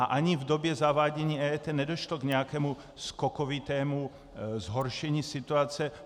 A ani v době zavádění EET nedošlo k nějakému skokovitému zhoršení situace.